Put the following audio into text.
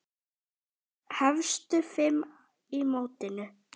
Efstu fimm í mótinu